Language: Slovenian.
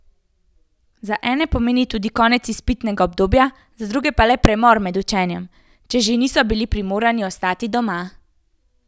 Za ene pomeni tudi konec izpitnega obdobja, za druge pa le premor med učenjem, če že niso bili primorani ostati doma.